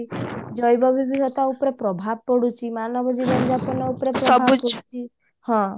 ଜୈବ ବିଭିଦତ୍ତା ଉପରେ ପ୍ରଭାବ ପଡୁଛି ମାନବ ଜୀବନ ଯାପନ ଉପରେ ହଁ